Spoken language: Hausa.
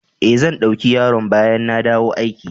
Eh, zan dauki yaron bayan na dawo aiki.